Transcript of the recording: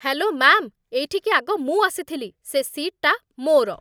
Hello ma'am, ଏଠିକି ଆଗ ମୁଁ ଆସିଥିଲି । ସେ ସିଟ୍‌ଟା ମୋର ।